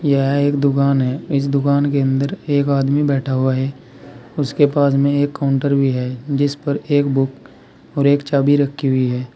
यह एक दुकान है इस दुकान के अंदर एक आदमी बैठा हुआ है उसके पास में एक काउंटर भी है जिस पर एक बुक और एक चाबी रखी हुई है।